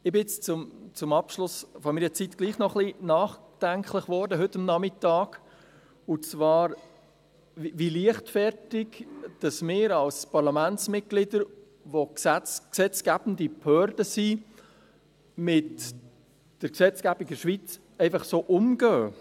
Ich bin jetzt zum Abschluss meiner Zeit hier doch noch etwas nachdenklich geworden heute Nachmittag, und zwar, wie leichtfertig wir als Parlamentsmitglieder, die wir die gesetzgebende Behörde sind, mit der Gesetzgebung in der Schweiz einfach so umgehen.